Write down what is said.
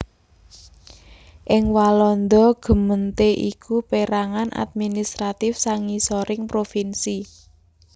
Ing Walanda gemeente iku pérangan administratif sangisoring provinsi